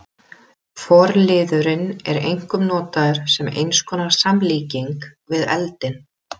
Forliðurinn er einkum notaður sem eins konar samlíking við eldinn.